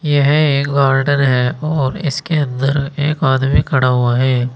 यह एक गार्डन है और इसके अंदर एक आदमी खड़ा हुआ है।